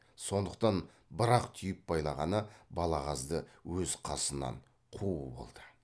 сондықтан бір ақ түйіп байлағаны балағазды өз қасынан қуу болды